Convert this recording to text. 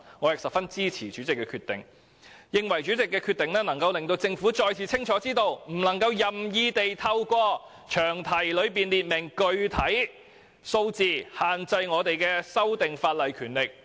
我十分支持主席的決定，認為有關決定可讓政府再次清楚知道，不可任意透過在詳題中列明具體數字而限制議員修訂法例的權力。